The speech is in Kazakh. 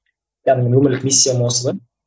яғни өмірлік миссиям осы да